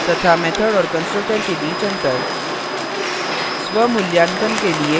तथा method और constructor के बीच अंतर